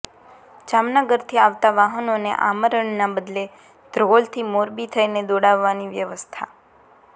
જામનગરથી આવતા વાહનોને આમરણના બદલે ધ્રોલથી મોરબી થઇને દોડાવવાની વ્યવસ્થા